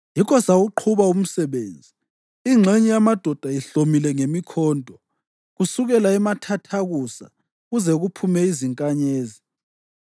Yikho sawuqhuba umsebenzi ingxenye yamadoda ihlomile ngemikhonto, kusukela emathathakusa kuze kuphume izinkanyezi.